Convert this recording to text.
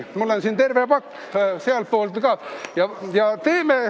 Mul on siin terve pakk.